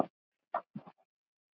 Hálfa tunnu af hvítu salti.